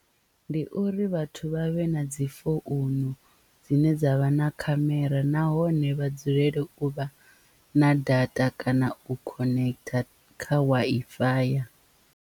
Ndi uri vhathu vha vhe na dzi founu dzine dza vha na khamera nahone vha dzulele u vha na data kana u connect kha Wi-Fi.